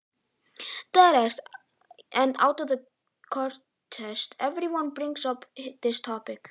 spyr pabbi og í kurteisisskyni taka allir upp þetta umræðuefni